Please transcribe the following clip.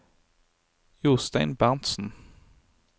Jostein Berntsen